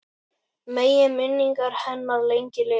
Megi minning hennar lengi lifa.